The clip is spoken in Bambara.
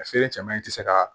A feere cɛman in tɛ se ka